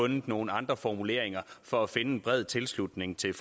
nogle andre formuleringer for at finde en bred tilslutning til